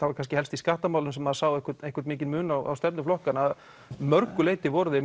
var kannski helst í skattamálum sem maður sá einhvern einhvern mikinn mun á stefnu flokkanna að mörgu leyti voru þeir